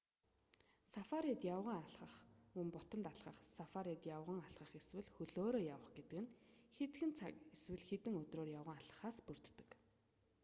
сафарид явган алхах мөн бутанд алхах сафарид явган алхах эсвэл хөлөөрөө явах гэдэг нь хэдхэн цаг эсвэл хэдэн өдрөөр явган алхахаас бүрддэг